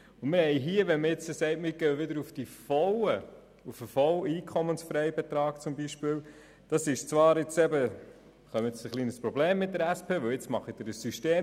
Wenn wir nun sagen, wir gehen beispielsweise wieder auf den vollen EFB, bekommen Sie ein Problem mit der SP, denn nun machen Sie ein System.